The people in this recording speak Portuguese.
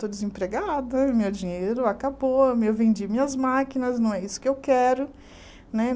Estou desempregada, meu dinheiro acabou, eu vendi minhas máquinas, não é isso que eu quero, né?